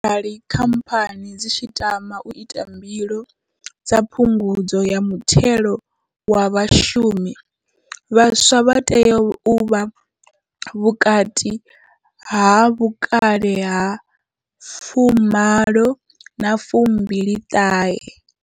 Arali khamphani dzi tshi tama u ita mbilo dza phungudzo ya muthelo wa vhashumi, vhaswa vha tea u vha vhukati ha vhukale ha 18 na 29.